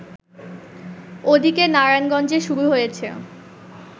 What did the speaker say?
ওদিকে নারায়ণগঞ্জে শুরু হয়েছে